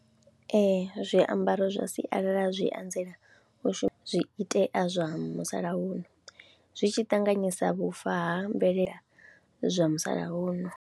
Ee zwiambaro zwa sialala zwi anzela u shuma, zwiitea zwa musalauno zwi tshi ṱanganyisa vhufa ha mvelele zwa musalauno.